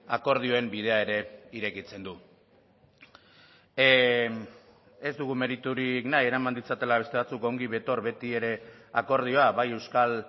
akordioen bidea ere irekitzen du ez dugu meriturik nahi eraman ditzatela beste batzuk ongi betor beti ere akordioa bai euskal